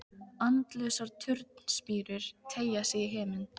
Andlausar turnspírur teygja sig í himin.